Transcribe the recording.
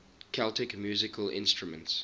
celtic musical instruments